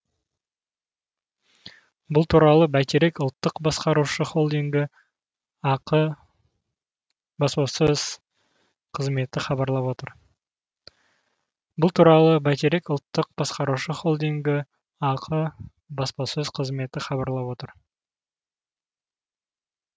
бұл туралы бәйтерек ұлттық басқарушы холдингі ақ баспасөз қызметі хабарлап отыр